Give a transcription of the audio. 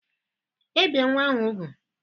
Ebìe nwa ahụ úgwù?